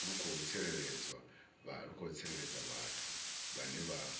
khou tsireledzwa vhathu vhane vha